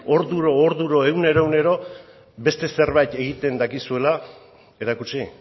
orduro orduro egunero egunero beste zerbait egiten dakizuela erakutsi